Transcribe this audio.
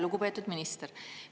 Lugupeetud minister!